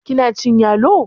kina cin yalo?